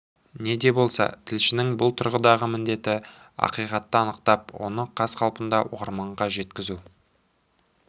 не де болса тілшінің бұл тұрғыдағы міндеті ақиқатты анықтап оны қаз қалпында оқырманға жеткізу